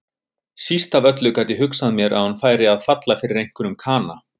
Síst af öllu gat ég hugsað mér að hún færi að falla fyrir einhverjum kana.